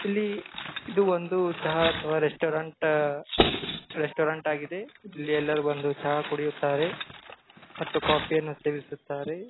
ಇಲ್ಲಿ ಇದು ಒಂದು ಚಹಾ ಅಥವಾ ರೆಸ್ಟೋರೆಂಟ್ ರೆಸ್ಟೋರೆಂಟ್ ಆಗಿದೆ ಇಲ್ಲಿ ಎಲ್ಲಾ ಬಂದು ಚಹಾವನ್ನು ಕುಡಿಯುತ್ತಾರೆ ಮತ್ತು ಕಾಫಿ ಯನ್ನು ಸೇವಿಸುತ್ತಾರೆ .